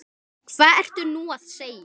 Hvað ertu nú að segja?